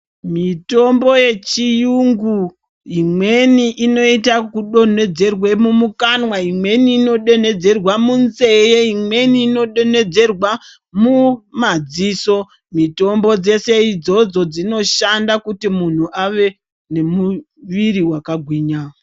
Mitombo yechiyungu imweni inoyita kudonhedzerwe mumukanwa, imweni inodonhedzerwe munzeye, imweni inodonhedzerwa mumadziso. Mitombo dzese idzodzo dzinoshanda kuti munhu ave nemuviri wakagwinya.